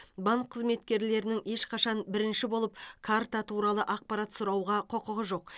банк қызметкерлерінің ешқашан бірінші болып карта туралы ақпарат сұрауға құқығы жоқ